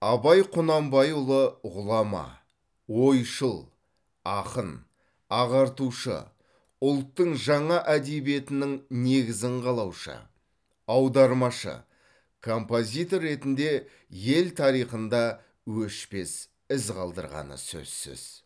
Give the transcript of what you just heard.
абай құнанбайұлы ғұлама ойшыл ақын ағартушы ұлттың жаңа әдебиетінің негізін қалаушы аудармашы композитор ретінде ел тарихында өшпес із қалдырғаны сөзсіз